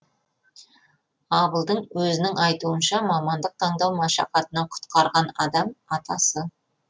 абылдың өзінің айтуынша мамандық таңдау машақатынан құтқарған адам атасы